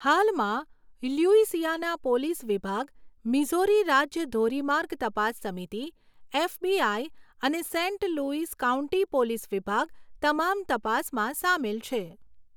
હાલમાં, Louisiana police વિભાગ, Missouri રાજ્ય ધોરીમાર્ગ તપાસ સમિતિ, એફબીઆઈ અને સેંટ લુઈઝ કાઉન્ટી પોલીસ વિભાગ, તમામ તપાસમાં સામેલ છે.